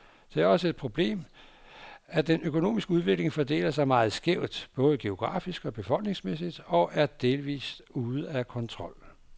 Det er også et problemet, at den økonomiske udvikling fordeler sig meget skævt, både geografisk og befolkningsmæssigt, og er delvist ude af kontrol.